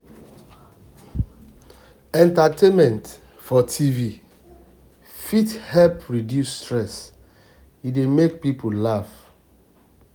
entertainment for tv tv fit help reduce stress e dey make people laugh